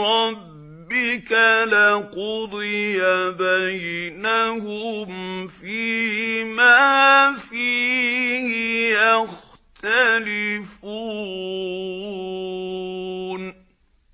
رَّبِّكَ لَقُضِيَ بَيْنَهُمْ فِيمَا فِيهِ يَخْتَلِفُونَ